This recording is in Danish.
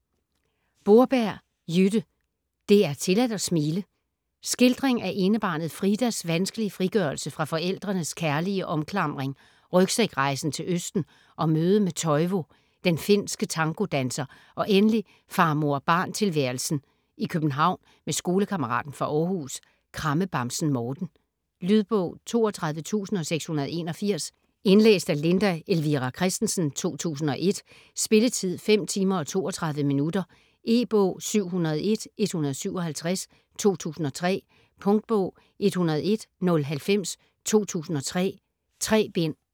Borberg, Jytte: Det er tilladt at smile Skildring af enebarnet Fridas vanskelige frigørelse fra forældrenes kærlige omklamring, rygsækrejsen til Østen og mødet med Toivo, den finske tangodanser, og endelig far-mor-barn tilværelsen i København med skolekammeraten fra Århus, krammebamsen Morten. Lydbog 32681 Indlæst af Linda Elvira Kristensen, 2001. Spilletid: 5 timer, 32 minutter. E-bog 701157 2003. Punktbog 101090 2003. 3 bind.